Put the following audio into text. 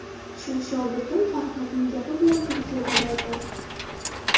Shu shogirdim Farhodning gapi bilan Turkiyaga bordim.